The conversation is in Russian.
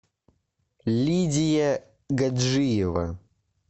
лидия гаджиева